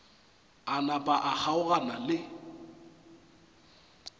a napa a kgaogana le